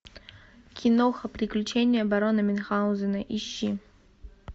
киноха приключения барона мюнхгаузена ищи